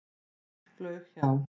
Fugl flaug hjá.